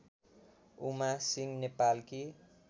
उमा सिंह नेपालकी